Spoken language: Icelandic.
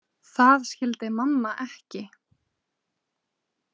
Það skildi mamma ekki.